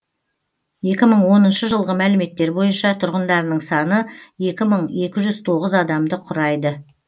екі мың оныншы жылғы мәліметтер бойынша тұрғындарының саны екі мың екі жүз тоғыз адамды құрайды